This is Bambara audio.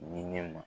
Ni ne ma